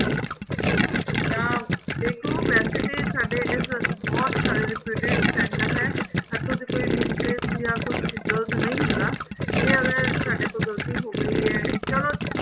ਜਾ ਦੇਖੋ ਵੈਸੇ ਤੇ ਸਾਡੇ ਇਸ ਬਹੁਤ ਸਾਰੇ reputed sender ਹੈ ਇੱਥੋ ਦੀ ਕੋਈ misplace ਜਾ ਕੁੱਛ ਗਲਤ ਨਹੀਂ ਹੁੰਦਾ ਜੇ ਅਗਰ ਸਾਡੇ ਤੋਂ ਗਲਤੀ ਹੋ ਗਈ ਹੈ ਚੱਲੋ